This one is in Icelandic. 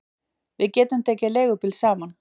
Við getum tekið leigubíl saman